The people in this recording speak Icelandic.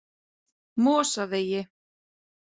Mosavegi